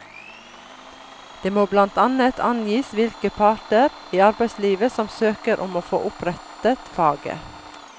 Det må blant annet angis hvilke parter i arbeidslivet som søker om å få opprettet faget.